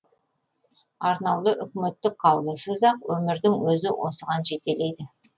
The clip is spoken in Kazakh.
арнаулы үкіметтік қаулысыз ақ өмірдің өзі осыған жетелейді